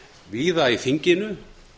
víða í þinginu